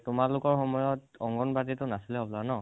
তোমালোকৰ সময়ত অংগণবাদি টো নাচিলে হবলা ন?